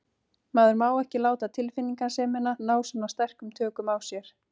Maður má ekki láta tilfinningasemina ná svona sterkum tökum á sér.